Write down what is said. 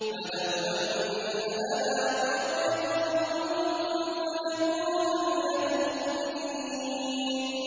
فَلَوْ أَنَّ لَنَا كَرَّةً فَنَكُونَ مِنَ الْمُؤْمِنِينَ